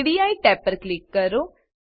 ready tab પર click કરો